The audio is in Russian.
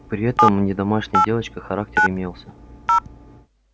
при этом не домашняя девочка характер имелся